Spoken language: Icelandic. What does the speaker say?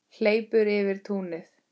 Hleypur yfir túnið.